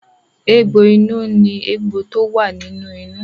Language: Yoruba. Egbò inú ní egbò tó wà nínú inú.